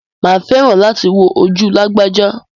Mà á fẹ́ràn láti wò ojú lágbájá.